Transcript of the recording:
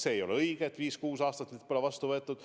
See ei ole õige, et viis-kuus aastat pole neid vastu võetud.